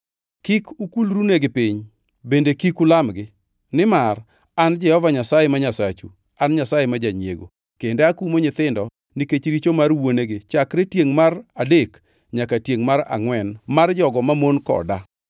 Kik ukulrunegi piny; bende kik ulamgi; nimar An, Jehova Nyasaye ma Nyasachu, An Nyasaye ma janyiego, kendo akumo nyithindo nikech richo mar wuonegi chakre tiengʼ mar adek nyaka tiengʼ mar angʼwen mar jogo mamon koda,